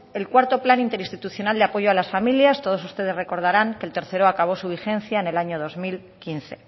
el cuarto plan interinstitucional de apoyo a las familias todos ustedes recordarán que el tercero acabó su vigencia en el año dos mil quince